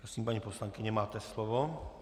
Prosím, paní poslankyně, máte slovo.